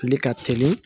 Tile ka teli